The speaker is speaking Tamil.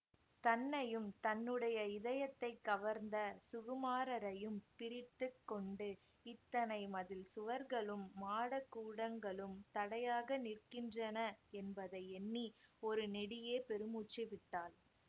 தன்னையும் தன்னுடைய இதயத்தை கவர்ந்த சுகுமாரரையும் பிரித்து கொண்டு இத்தனை மதில் சுவர்களும் மாடகூடங்களும் தடையாக நிற்கின்றன என்பதை எண்ணி ஒரு நெடிய பெருமூச்சு விட்டாள்